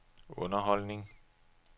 underholdning